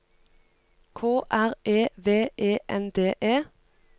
K R E V E N D E